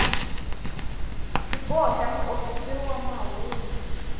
xiboho xa muofisiri wa mahungu